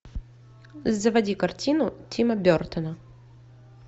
заводи картину тима бертона